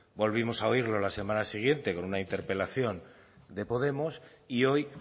volvimos a oírlo la semana siguiente con una interpelación de podemos y hoy